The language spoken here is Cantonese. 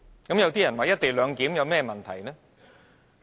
有人會問"一地兩檢"有甚麼問題呢？